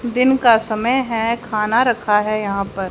दिन का समय है खाना रखा है यहां पर।